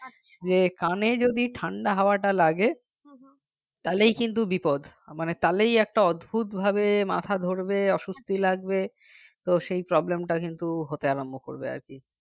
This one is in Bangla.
যে কানে যদি ঠান্ডা হাওয়াটা লাগে তাহলেই কিন্তু বিপদ মানে তাহলে একটা অদ্ভূত ভাবে মাথা ধরবে অস্বস্তি লাগবে তো সেই problem টা কিন্তু হতে আরম্ভ করবে আর কি